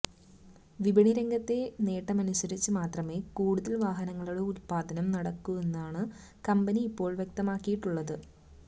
വിപണി രംഗത്തെ നേട്ടമനുസരിച്ച് മാത്രമേ കൂടുതല് വാഹനങ്ങളുടെ ഉതപ്പാദനം നടത്തുവെന്നാണ് കമ്പനി ഇപ്പോള് വ്യക്തമാക്കിയിട്ടുള്ളത്